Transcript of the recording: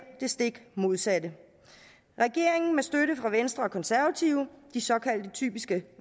det stik modsatte regeringen med støtte fra venstre og konservative de såkaldte typiske